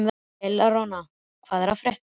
Eleonora, hvað er að frétta?